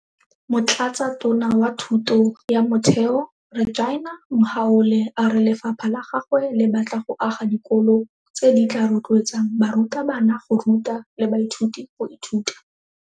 Motlatsatona wa Thuto ya Motheo Reginah Mhaule a re lefapha la gagwe le batla go aga dikolo tse di tla rotloetsang barutabana go ruta le baithuti go ithuta.